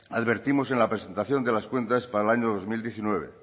advertimos en la presentación de las cuentas para el año dos mil diecinueve